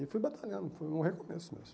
E fui batalhando, foi um recomeço mesmo.